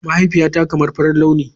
Mahaifiyata kamar farin launi.